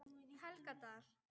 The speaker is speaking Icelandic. Helgadal